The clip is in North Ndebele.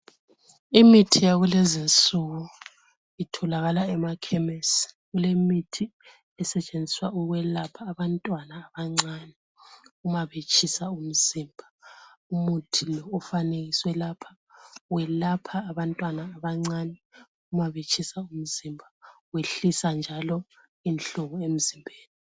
Imithi yakulezi insuku itholakala emakhemisi kule mithi esetshenziswa ukwelapha abantwana abancane ma betshisa umzimba. Umuthi lo ofanekiswe lapha welapha abantwana abancane uma betshisa umzimba wehlisa njalo inhlungu emzimbeni.